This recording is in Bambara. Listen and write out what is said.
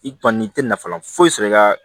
I kɔni i tɛ nafa foyi sɔrɔ i ka